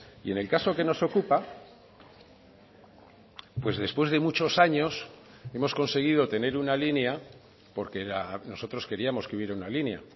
y en el caso que nos ocupa pues después de muchos años hemos conseguido tener una línea porque nosotros queríamos que hubiera una línea